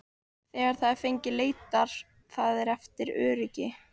Þegar það er fengið leitar það eftir öryggi.